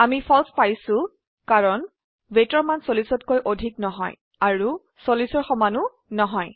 আমি ফালছে পাইছো কাৰণ weightৰ মান 40তকৈ অধিক নহয় আৰু 40 ৰ সমান ও নহয়